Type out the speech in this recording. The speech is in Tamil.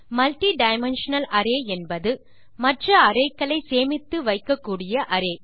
மல்டிடைமென்ஷனல் அரே என்பது மற்ற அரே க்களை சேமித்து வைக்கக்கூடிய அரே